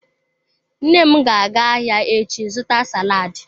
Nna m ga-aga ahia echi zuta saladi.